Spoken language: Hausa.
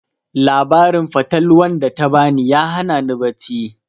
Labarin fatalwan da ta ba ni ya hana ni bacci